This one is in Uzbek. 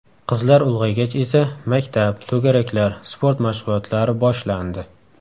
Qizlar ulg‘aygach esa, maktab, to‘garaklar, sport mashg‘ulotlari boshlandi.